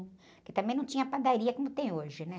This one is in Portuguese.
Porque também não tinha padaria como tem hoje, né?